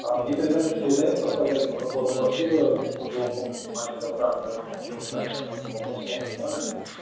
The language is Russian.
а мне передали что вы заявку оставляли по подбору квартиры в жилом комплексе маленькая франция там около ста метров там вопрос у вас актуален